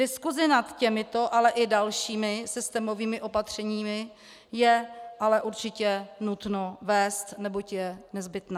Diskusi nad těmito, ale i dalšími systémovými opatřeními je ale určitě nutno vést, neboť je nezbytná.